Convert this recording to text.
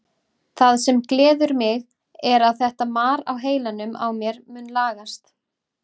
Það sem gleður mig er að þetta mar á heilanum á mér mun lagast.